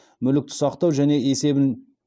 мүлікті сақтау және есебін